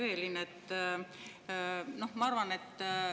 Hea Evelin!